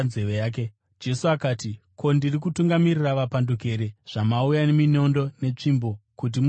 Jesu akati, “Ko, ndiri kutungamirira vapanduki here zvamauya neminondo netsvimbo kuti muzondibata?